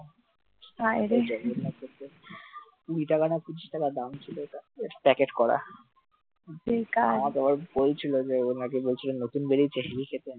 packet করা মামা নাকি বলছিল বলছিল নতুন বেরিয়েছে heavy খেতে,